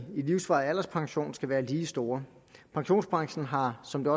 livsvarig alderspension skal være lige store pensionsbranchen har som det